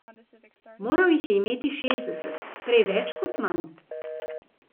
Moral jih je imeti šestdeset, prej več kot manj.